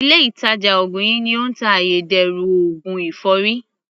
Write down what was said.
Ilé ìtàjà ògùn yìí ni ó ń ta ayédèrú oògùn èfọ́rí.